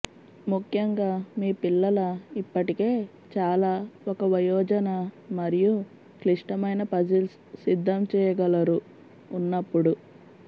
ముఖ్యంగా మీ పిల్లల ఇప్పటికే చాలా ఒక వయోజన మరియు క్లిష్టమైన పజిల్స్ సిద్ధం చేయగలరు ఉన్నప్పుడు